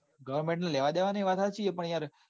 goverment ને લેવા દેવા નાઈ વાત હાચી પણ યાર